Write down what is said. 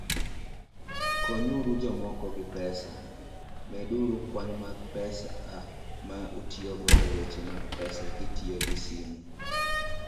Konyuru Jomoko gi Pesa: Meduru kwan mar pesa ma utiyogo e weche mag pesa kitiyo gi simo.